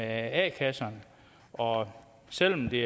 a kasserne og selv om det